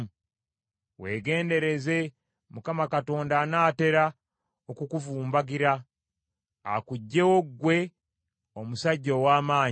“Weegendereze Mukama Katonda anaatera okukuvumbagira, akuggyewo ggwe omusajja ow’amaanyi.